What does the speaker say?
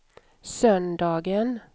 söndagen